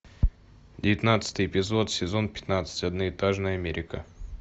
девятнадцатый эпизод сезон пятнадцать одноэтажная америка